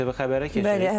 ITV Xəbərə keçirik.